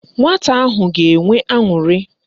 Nwata ahụ ga-enwe aṅụrị.